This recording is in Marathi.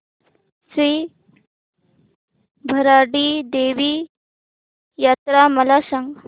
श्री भराडी देवी यात्रा मला सांग